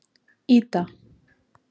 Ída